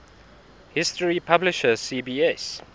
history publisher cbs